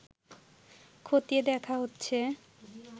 খতিয়ে দেখা হচ্ছে